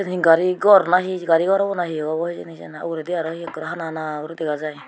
yen gari gor nahi gari gor obo na he obo hejini hi ugurendi he ekkorey hana hana guri dega jai.